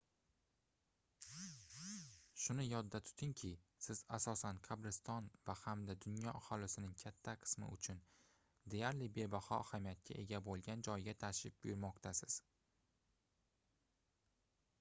shuni yodda tutungki siz asosan qabriston va hamda dunyo aholisining katta qismi uchun deyarli bebaho ahamiyatga ega boʻlgan joyga tashrif buyurmoqdasiz